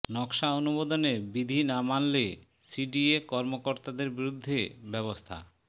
নকশা অনুমোদনে বিধি না মানলে সিডিএ কর্মকর্তাদের বিরুদ্ধে ব্যবস্থা